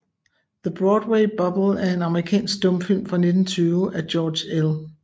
The Broadway Bubble er en amerikansk stumfilm fra 1920 af George L